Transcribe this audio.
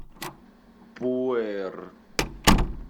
пуэр